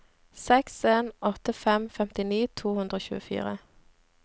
seks en åtte fem femtini to hundre og tjuefire